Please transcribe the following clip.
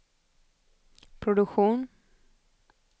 produktion